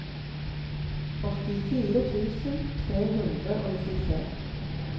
åttifire tusen tre hundre og nittitre